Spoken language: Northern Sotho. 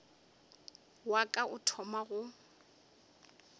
wa ka o thoma go